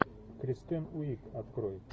кристен уиг открой